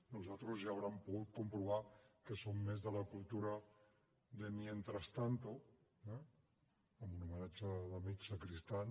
nosaltres ja deuen haver pogut comprovar que som més de la cultura de mientras tanto eh en homenatge a l’amic sacristán